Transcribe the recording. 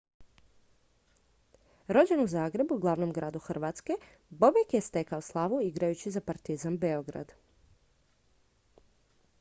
rođen u zagrebu glavnom gradu hrvatske bobek je stekao slavu igrajući za partizan beograd